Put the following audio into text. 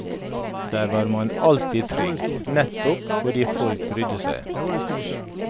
Der var man alltid trygg, nettopp fordi folk brydde seg.